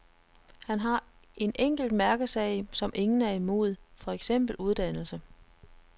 Han har en enkelt mærkesag, som ingen er imod, for eksempel uddannelse.